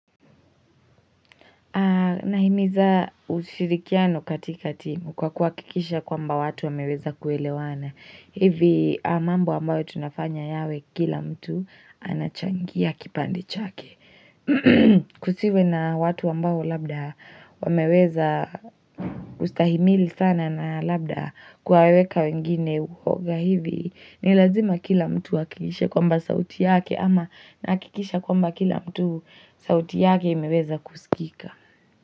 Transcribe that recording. Nahimiza ushirikiano katika timu kwa kuakikisha kwamba watu wameweza kuelewana. Hivi mambo ambayo tunafanya yawe kila mtu anachangia kipande chake. Kusiwe na watu ambao labda wameweza ustahimili sana na labda kuwaweka wengine uhoga hivi. Ni lazima kila mtu akikishe kwamba sauti yake ama nahakikisha kwamba kila mtu sauti yake imeweza kusikika.